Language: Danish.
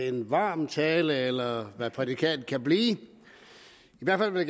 en varm tale eller hvad prædikatet nu kan blive jeg vil i